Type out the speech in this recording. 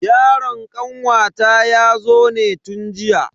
Yaron kanwata yazo ne tun jiya.